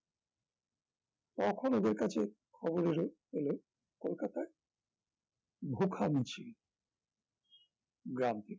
তখন ওদের কাছে খবর এল এল কলকাতায় ভুখা মিছিল গ্রাম থেকে